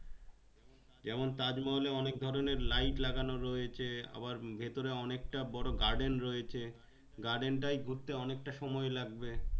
যেমন তাজমহল এ অনেক ধরণের light লাগানো রয়েছে আবার ভিতরে অনেক তা বড়ো garden রয়েছে garden তাই ঘুরতে অনেক তাই সময়ে লাগে